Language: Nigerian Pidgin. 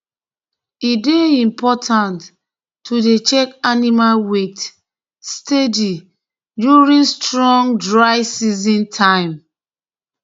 e dey important to dey check animal weight steady during strong dry season time